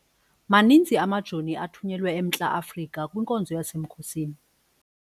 Maninzi amajoni athunyelwe eMntla-Afrika kwinkonzo yasemkhosini.